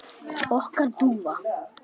Okkar dúfa?